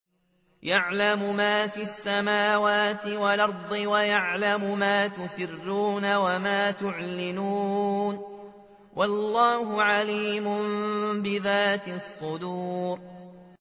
يَعْلَمُ مَا فِي السَّمَاوَاتِ وَالْأَرْضِ وَيَعْلَمُ مَا تُسِرُّونَ وَمَا تُعْلِنُونَ ۚ وَاللَّهُ عَلِيمٌ بِذَاتِ الصُّدُورِ